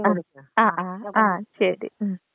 ആ ആ ആ ആ ശെരി ഉം.